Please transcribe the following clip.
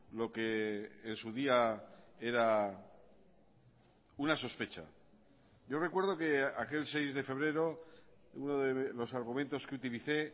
lo que en su día era una sospecha yo recuerdo que aquel seis de febrero uno de los argumentos que utilicé